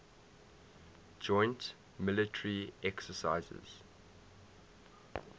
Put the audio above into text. joint military exercises